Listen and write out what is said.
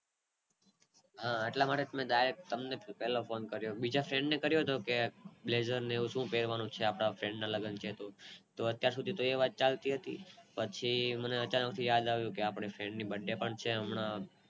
હા એટલા માટે મેં પેલો ફોને Direct તમને કર્યો બીજા friend કર્યો જો કે બ્લેઝર ને એવું શું પેરવાનું છે આપણા friend ના લગન છે તો તો અત્યાર સુધી એ વાત ચાલતી હતી પછી મને અચાનક થી યાદ આવ્યું કે આપણા friend ની birthday પણ છે.